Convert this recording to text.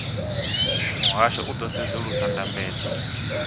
muhasho u ḓo sedzulusa ndambedzo